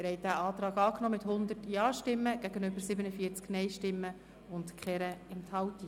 Sie haben den Kreditantrag angenommen mit 100 Ja- gegen 47 Nein-Stimmen bei keiner Enthaltung.